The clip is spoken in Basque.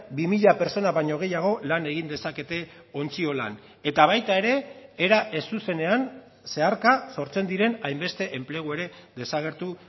bi mila pertsona baino gehiago lan egin dezakete ontziolan eta baita ere era ez zuzenean zeharka sortzen diren hainbeste enplegu ere desagertu